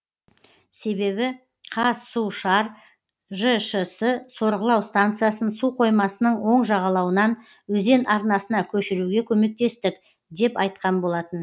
себебі қазсушар жшс сорғылау станциясын су қоймасының оң жағалауынан өзен арнасына көшіруге көмектестік деп айтқан болатын